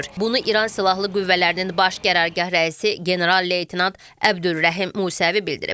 Bunu İran Silahlı Qüvvələrinin Baş Qərargah rəisi general-leytenant Əbdülrəhim Musəvi bildirib.